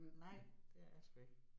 Nej, det er jeg sgu ikke